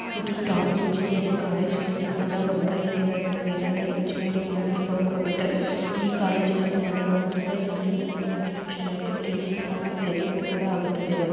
ಇದು top engineering college ನಲ್ಲಿ ಕೂಡ ಒಂದು ದಿವಸ ನೀವೇನಾದ್ರು ಎಂಜಿನಿಯರಿಂಗ್ ಮಾಡಬೇಕು ಅಂದುಕೊಂಡಿದ್ದರೆ ಈ ಕಾಲೇಜಿನಲ್ಲಿ ಮಾಡಬಹುದು. ಯಾಕೆಂದರೆ ಅಷ್ಟು ಚೆನ್ನಾಗಿ ಟೀಚಿಂಗ್ ಆಗೋ ಪ್ಲೇಸ್ ಕೂಡ ಆಗುತ್ತದೆ.